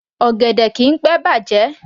Ọ̀gẹ̀dẹ̀ kìí pé bàjẹ́